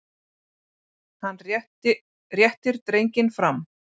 Hann réttir drenginn fram.